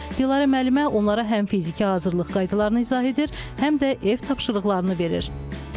Dilarə müəllimə onlara həm fiziki hazırlıq qaydalarını izah edir, həm də ev tapşırıqlarını verir.